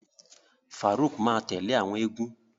Faruq ma tẹle awọn égún.